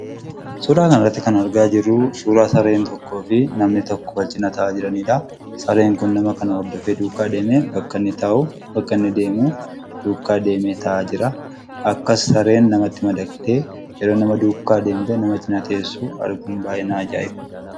Suuraa kanarratti kan argaa jirru suuraa sareen tokkoo fi namni tokko wal cina taa'aa jiraniidha. Sareen kun nama kana hordofee duukaa deemee bakka inni taa'u ,bakka inni deemu, duukaa deemee taa'aa jira. Akkas sareen namatti madaqxee nama duukaa deemtee taa'uun baay'ee na ajaa'iba.